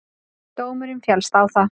Dómurinn féllst á það.